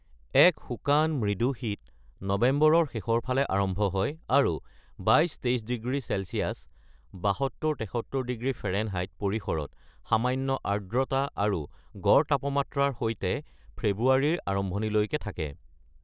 এক শুকান, মৃদু শীত নৱেম্বৰৰ শেষৰ ফালে আৰম্ভ হয় আৰু ২২–২৩ ডিগ্ৰী চেলচিয়াছ (৭২-৭৩ ডিগ্ৰী ফেৰেনহাইত) পৰিসৰত সামান্য আৰ্দ্ৰতা আৰু গড় তাপমাত্ৰাৰ সৈতে ফেব্ৰুৱাৰীৰ আৰম্ভণিলৈ থাকে।